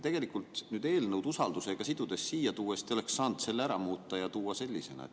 Tegelikult nüüd eelnõu usaldusega sidudes te oleksite saanud selle ära muuta ja sellisena siia tuua.